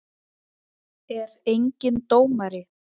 Er enginn dómari?